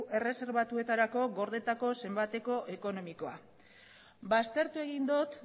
erreserbatuetarako gordetako zenbateko ekonomikoa ba aztertu egin dut